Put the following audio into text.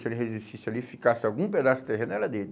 Se ele resistisse ali, ficasse algum pedaço de terra, era dele.